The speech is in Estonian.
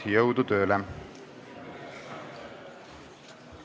Jõudu tööle!